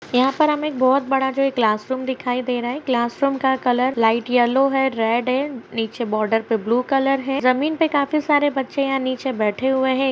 यहाँ पर हमे एक बोहोत बड़ा जो है क्लास रूम दिखाई दे रहा है | क्लास रूम का कलर लाइट येल्लो है रेड है नीचे बार्डर पे ब्लू कलर है जमीन पे यहाँ काफी सारे बच्चे हैं नीचे बैठे हुए है।